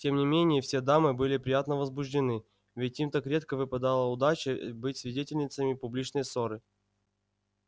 тем не менее все дамы были приятно возбуждены ведь им так редко выпадала удача быть свидетельницами публичной ссоры